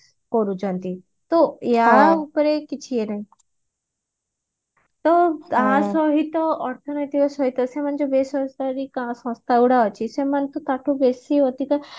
ତ ୟା ଉପରେ କିଛି ଇଏ ନାହିଁ ତ ତା ସହିତ ଅର୍ଥ ନୈତିକ ସହିତ ସେମାନେ ଯୋଉ ବେସରକାରୀ କା ସଂସ୍ଥା ଗୁଡା ଅଛି ସେମାନେ ତ ତାଠୁ ବେଶି ଅଧିକ